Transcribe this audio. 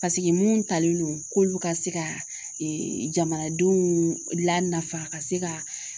mun talen don k'olu ka se ka jamanadenw lanafa ka se ka